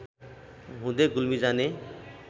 हुँदै गुल्मी जाने